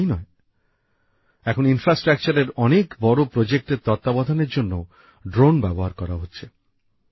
শুধু তাই নয় এখন পরিকাঠামো সংক্রান্ত বড় বড় প্রকল্পর তত্ত্বাবধানের জন্যও ড্রোন ব্যবহার করা হচ্ছে